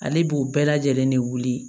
Ale b'u bɛɛ lajɛlen de wuli